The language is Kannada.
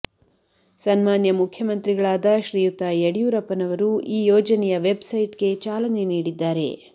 ಸನ್ಮಾನ್ಯ ಮುಖ್ಯಮಂತ್ರಿಗಳಾದ ಶ್ರೀಯುತ ಯಡಿಯೂರಪ್ಪನವರು ಈ ಯೋಜನೆಯ ವೆಬ್ ಸೈಟ್ ಗೆ ಚಾಲನೆ ನೀಡಿದ್ದಾರೆ